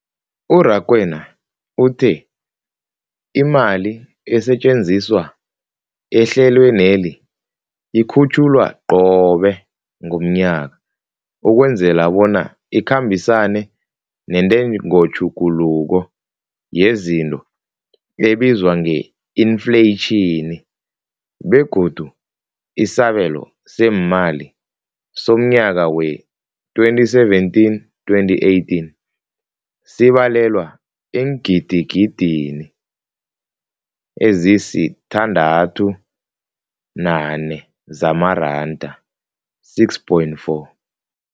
U-Rakwena uthe imali esetjenziswa ehlelweneli ikhutjhulwa qobe ngomnyaka ukwenzela bona ikhambisane nentengotjhuguluko yezinto ebizwa nge-infleyitjhini, begodu isabelo seemali somnyaka we-2017, 2018 sibalelwa eengidigidini ezisi-6.4 zamaranda.